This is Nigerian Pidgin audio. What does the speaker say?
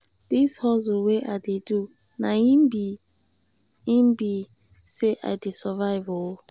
dis hustle wey i dey do na im be im be sey i dey survive o.